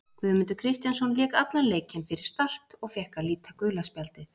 Guðmundur Kristjánsson lék allan leikinn fyrir Start og fékk að líta gula spjaldið.